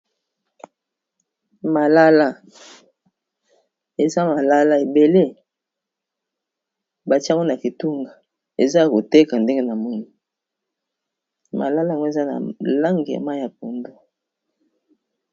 malala eza malala ebele batiango na kitunga eza a koteka ndenge na moni malala ngo eza na langema ya pondo